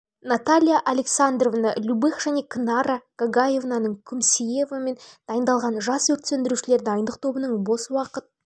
наталья александровна любых және кнара гогаевна күмсиевамен дайындалған жас өрт сөндірушілер дайындық тобының бос уақыт